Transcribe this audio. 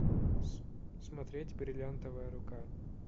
смотреть бриллиантовая рука